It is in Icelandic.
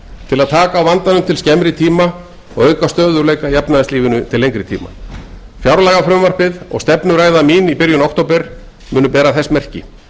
til að taka á vandanum til skemmri tíma og auka stöðugleika í efnahagslífinu til lengri tíma fjárlagafrumvarpið og stefnuræða mín í byrjun október munu bera þess merki